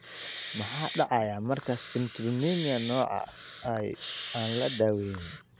Maxaa dhacaya marka citrullinemia nooca I aan la daweyn?